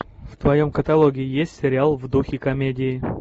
в твоем каталоге есть сериал в духе комедии